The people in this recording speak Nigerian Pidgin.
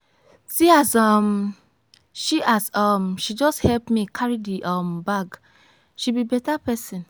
see as um she as um she just help me carry the um bag. she be better person.